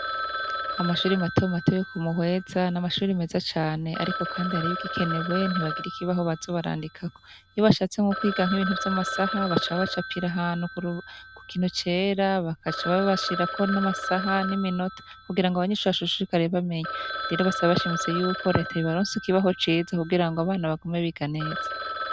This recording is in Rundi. Amashuri matomato yo ku Muhweza n'amashuri meza cane ariko kandi hariho ibigikenewe ntibagira ikibaho baza barandikako, iyo bashatse nko kwiga nk'ibintu vy'amasaha baca babacapira ahantu ku kintu cera bakaca babashirirako n'amasaha n'iminota kugira ngo abanyeshure bashishikare bamenya, rero basaba bashimitse yuko reta yobaronsa ikibaho ciza kugira ngo abana bagume biga neza.